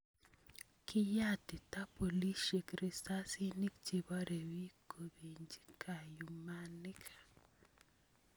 Kiyatiita bolisiek risasinik chebare biik kobenchi kayumaniik